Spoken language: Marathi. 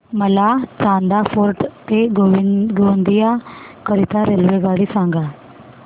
मला चांदा फोर्ट ते गोंदिया करीता रेल्वेगाडी सांगा